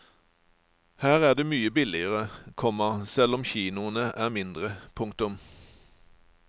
Her er det mye billigere, komma selv om kinoene er mindre. punktum